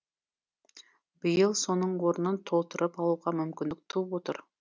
биыл соның орнын толтырып алуға мүмкіндік туып отыр